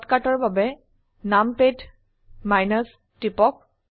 শৰ্টকাটৰ বাবে নামপাদ টিপক